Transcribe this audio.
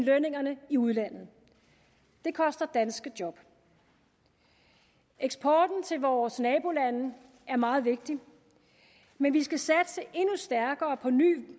lønningerne i udlandet det koster danske job eksporten til vores nabolande er meget vigtig men vi skal satse endnu stærkere på nye